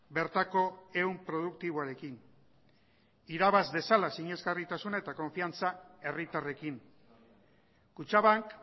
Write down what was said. bertako ehun produktiboarekin irabaz dezala sinesgarritasuna eta konfiantza herritarrekin kutxabank